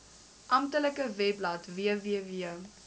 amptelike webblad www